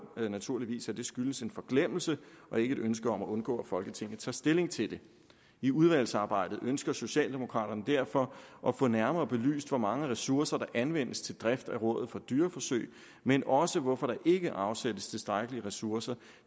naturligvis at det skyldes en forglemmelse og ikke et ønske om at undgå at folketinget tager stilling til det i udvalgsarbejdet ønsker socialdemokraterne derfor at få nærmere belyst hvor mange ressourcer der anvendes til driften af rådet for dyreforsøg men også hvorfor der ikke afsættes tilstrækkelige ressourcer